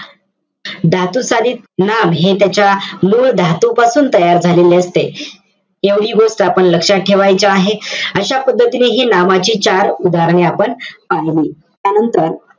धातुसाधित नाम हे त्याच्या, मूळ धातूपासून तयार झालेले असते. एवढी गोष्ट आपण लक्षात ठेवायची आहे. अशा पद्धतीने हि नामाची चार उदाहरणं आपण पाहिली. त्यानंतर,